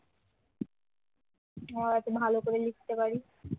আমরা যাতে ভালো করে লিখতে পারি,